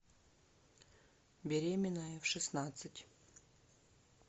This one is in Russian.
беременная в шестнадцать